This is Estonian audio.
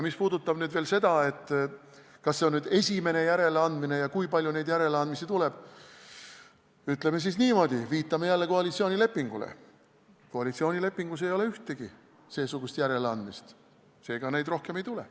Mis puudutab nüüd veel seda, kas see on esimene järeleandmine ja kui palju neid järeleandmisi tuleb, siis viitame jälle koalitsioonilepingule: koalitsioonilepingus ei ole ühtegi seesugust järeleandmist, seega neid rohkem ei tule.